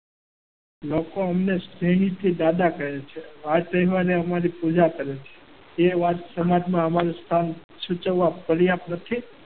લોકો અમને પ્રેમથી દાદા કહે છે. વાર તહેવારે અમારી પૂજા કરે છે. તે વાત અમારું સ્થાન સમાજમાં સૂચવવા પર્યાપ્ત નથી.